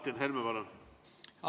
Martin Helme, palun!